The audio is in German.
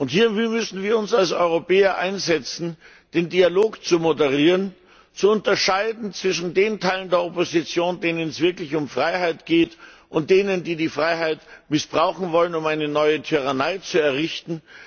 Hier müssen wir uns als Europäer einsetzen, den Dialog zu moderieren, zu unterscheiden zwischen den Teilen der Opposition, denen es wirklich um Freiheit geht, und denen, die die Freiheit missbrauchen wollen, um eine neue Tyrannei zu errichten.